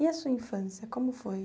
E a sua infância, como foi?